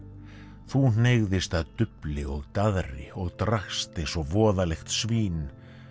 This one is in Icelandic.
þú hneigðist að dufli og daðri og drakkst eins og voðalegt svín